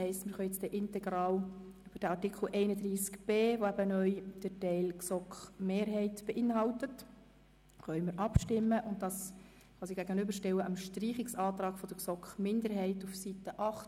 Somit können wir nun integral den Artikel 31b (neu), der nun den Teil der GSoK-Mehrheit beinhaltet, dem Streichungsantrag der GSoK-Minderheit I auf Seite 8